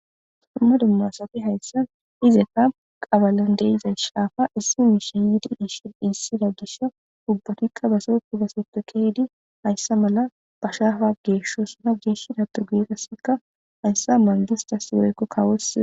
Summa dumma asafe hayssa izeta qabalan deiza shaafa issi miisha yidi ishshid issidadussa ubbatikka baso kubasete kehidi hayssa mala ba shaafa geeshosuna geeshshida tugeeqasseka hayssa mangistas weykko kawoos.